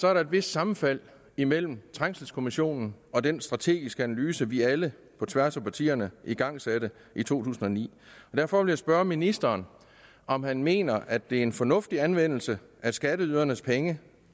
er der et vist sammenfald imellem trængselskommissionen og den strategiske analyse vi alle på tværs af partierne igangsatte i to tusind og ni derfor vil jeg spørge ministeren om han mener at det er en fornuftig anvendelse af skatteydernes penge